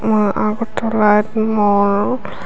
উম আগরতলার মল ।